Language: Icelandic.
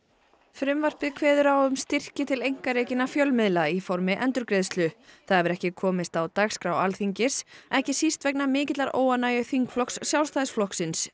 frumvarpið kveður á um styrki til einkarekinna fjölmiðla í formi endurgreiðslu það hefur ekki komist á dagskrá Alþingis ekki síst vegna mikillar óánægju þingflokks Sjálfstæðisflokksins